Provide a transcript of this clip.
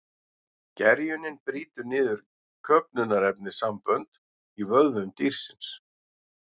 Gerjunin brýtur niður köfnunarefnissambönd í vöðvum dýrsins.